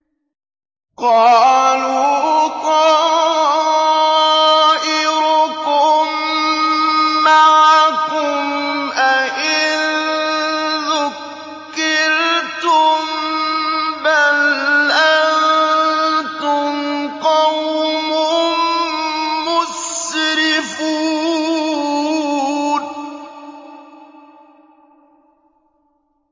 قَالُوا طَائِرُكُم مَّعَكُمْ ۚ أَئِن ذُكِّرْتُم ۚ بَلْ أَنتُمْ قَوْمٌ مُّسْرِفُونَ